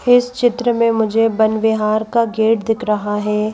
इस चित्र में मुझे वनविहार का गेट दिख रहा है।